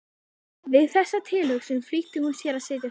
Við þessa tilhugsun flýtti hún sér að setjast upp.